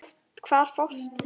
Hvar fást þeir?